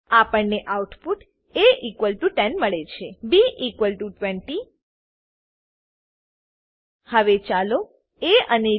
આપણને output a10 મળે છે b20 હવે ચાલો એ અને બી